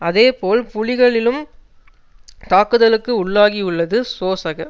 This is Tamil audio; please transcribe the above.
அதே போல் புலிகளிலும் தாக்குதலுக்கு உள்ளாகியுள்ளது சோசக